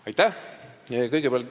Aitäh!